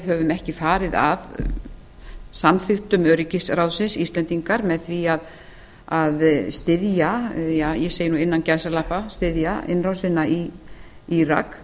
höfum ekki farið að samþyukja að styðja ég segi nú innan gæsalappa að styðja innrásina í írak